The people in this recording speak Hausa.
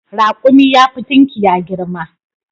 Raƙumi yafi tunkiya girma.